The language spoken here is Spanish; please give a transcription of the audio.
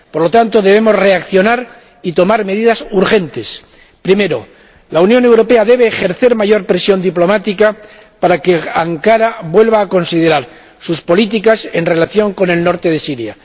Por lo tanto, debemos reaccionar y tomar medidas urgentes primero, la Unión Europea debe ejercer mayor presión diplomática para que Ankara vuelva a considerar sus políticas en relación con el norte de Siria